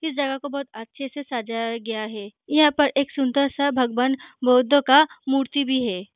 इस जगह को बहुत अच्छे से सजाया गया है यहाँ पर एक सुन्दर सा भगवान बुद्ध का मूर्ति भी है।